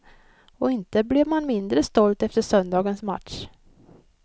Och inte blev man mindre stolt efter söndagens match.